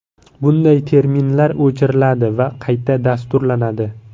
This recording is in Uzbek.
Bunday terminallar o‘chiriladi va qayta dasturlanadi.